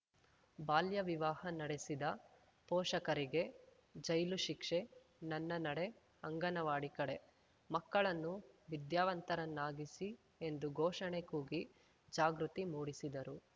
ಬಾಲ್ಯ ವಿವಾಹ ನಡೆಸಿದ ಪೋಷಕರಿಗೆ ಜೈಲು ಶಿಕ್ಷೆ ನನ್ನ ನಡೆ ಅಂಗನವಾಡಿ ಕಡೆ ಮಕ್ಕಳನ್ನು ವಿದ್ಯಾವಂತರನ್ನಾಗಿಸಿ ಎಂದು ಘೋಷಣೆ ಕೂಗಿ ಜಾಗೃತಿ ಮೂಡಿಸಿದರು